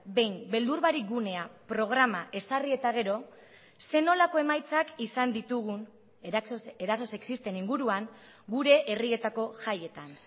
behin beldur barik gunea programa ezarri eta gero zer nolako emaitzak izan ditugun eraso sexisten inguruan gure herrietako jaietan